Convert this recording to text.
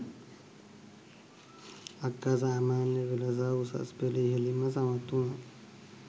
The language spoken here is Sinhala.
අක්කා සාමාන්‍ය පෙළ සහ උසස් පෙළ ඉහළින්ම සමත් වුණා